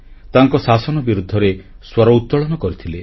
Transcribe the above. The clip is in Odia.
ତାଙ୍କ ଶାସନ ବିରୁଦ୍ଧରେ ସ୍ୱର ଉତ୍ତୋଳନ କରିଥିଲେ